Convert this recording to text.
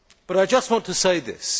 I just want to say this.